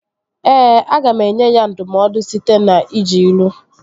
Ee, aga m enye ya ndụmọdụ site n'iji ilu